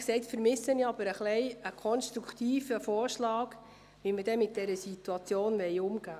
Ehrlich gesagt vermisse ich aber ein bisschen einen konstruktiven Vorschlag, wie wir dann mit dieser Situation umgehen wollen.